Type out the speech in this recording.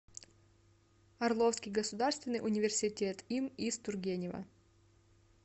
орловский государственный университет им ис тургенева